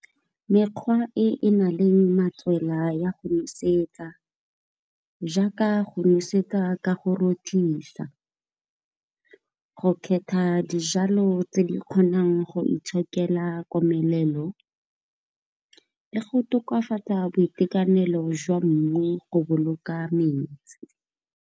Mekgwa e e nang le matswela ya go nosetsa. Jaaka go nosetsa ka go rothisa, go kgetha di jalo tse di kgonang go itshokela komelelo le go tokafatsa boitekanelo jwa mmu go boloka metsi.